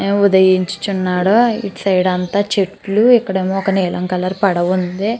సూర్యుడు ఉదయించుచున్నాడు ఇటు సైడ్ అంతా చెట్లు ఇక్కడ ఒక నీలం కలర్ పడవ ఉంది.